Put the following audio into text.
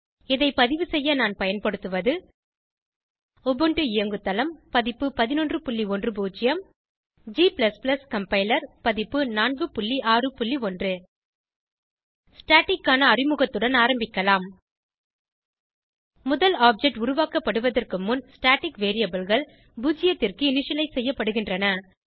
இதை பதிவுசெய்ய நான் பயன்படுத்துவது உபுண்டு இயங்குதளம் பதிப்பு 1110 g கம்பைலர் பதிப்பு 461 staticக்கான அறிமுகத்துடன் ஆரம்பிக்கலாம் முதல் ஆப்ஜெக்ட் உருவாக்கப்படுவதற்கு முன் ஸ்டாட்டிக் variableகள் பூஜ்ஜியத்திற்கு இனிஷியலைஸ் செய்யப்படுகின்றன